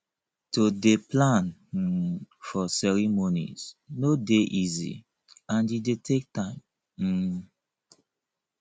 to de plan um for cereomonies no de easy and e de take time um